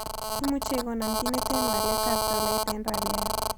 Imuche igonon kiit neten waletab tolait eng' rupuiat